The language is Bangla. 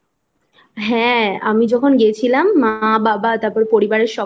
হ্যাঁ আমি যখন গেছিলাম মা বাবা তারপরে পরিবার এর